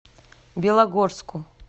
белогорску